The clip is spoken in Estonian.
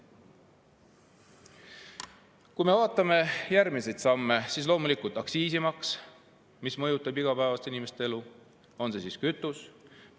Kui me vaatame järgmisi samme, siis loomulikult aktsiisid, näiteks kütuse omad, mõjutavad inimeste igapäevast elu.